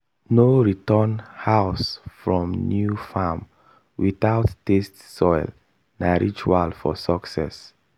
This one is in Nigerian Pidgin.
no return house from new farm without taste soil na ritual for success